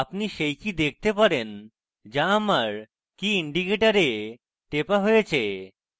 আপনি সেই key দেখাতে পারেন যা আমার key indicator টেপা হয়েছে